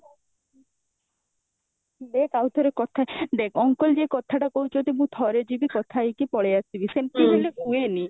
ଦେଖ ଆଉଥରେ କଥା ଦେଖ uncle ଯେ କଥାଟା କହୁଛନ୍ତି ମୁଁ ଥରେ ଯିବି କଥା ହେଇକି ପଳେଇଆସିବି ସେମତି ହେଲେ ହୁଏନି